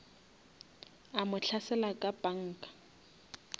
a mo hlasela ka panga